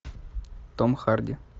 том харди